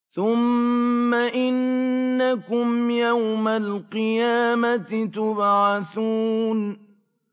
ثُمَّ إِنَّكُمْ يَوْمَ الْقِيَامَةِ تُبْعَثُونَ